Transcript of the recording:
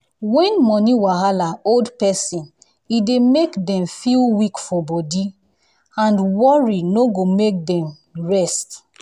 when money wahala hold person e dey make dem feel weak for body and worry no go make dem rest.